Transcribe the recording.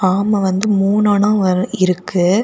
ஆமா வந்து மூணனா வ இருக்கு.